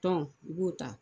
Tɔn u b'o ta.